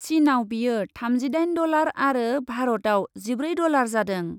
चिनआव बेयो थामजिदाइन डलार आरो भारतआव जिब्रै डलार जादों ।